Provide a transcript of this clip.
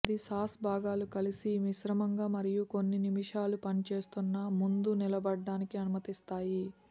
అన్ని సాస్ భాగాలు కలిసి మిశ్రమంగా మరియు కొన్ని నిమిషాలు పనిచేస్తున్న ముందు నిలబడటానికి అనుమతిస్తాయి